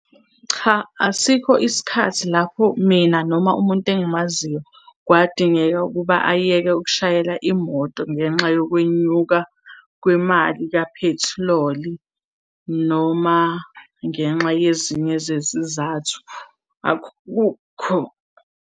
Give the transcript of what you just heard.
Cha, asikho isikhathi lapho mina noma umuntu engimaziyo kwadingeka ukuba ayeke ukushayela imoto ngenxa yokwenyuka kwemali kaphethiloli, noma ngenxa yezinye zezizathu, akukho.